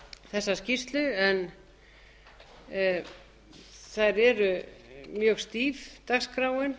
þessa skýrslu en það er mjög stíf dagskráin